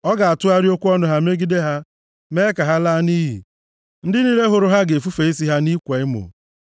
Ọ ga-atụgharị okwu ọnụ ha megide ha, mee ka ha laa nʼiyi; ndị niile hụrụ ha ga-efufe isi ha nʼịkwa emo.